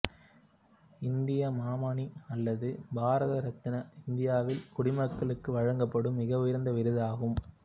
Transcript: இந்திய மாமணி அல்லது பாரத ரத்னா இந்தியாவில் குடிமக்களுக்கு வழங்கப்படும் மிக உயர்ந்த விருதாகும்